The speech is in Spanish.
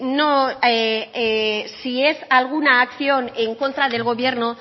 si es alguna acción en contra del gobierno